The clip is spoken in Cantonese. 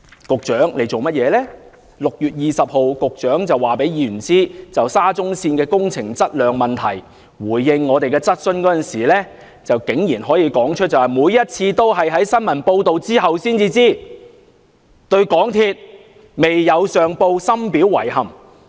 局長在6月20日就沙中線的工程質量問題回應議員質詢時竟然指出，每次都是在新聞報道後才得知，對港鐵公司未有上報深表遺憾。